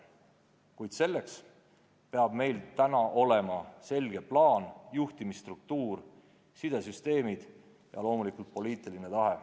Kuid selleks peavad meil olema selge plaan, juhtimisstruktuur, sidesüsteemid ja loomulikult poliitiline tahe.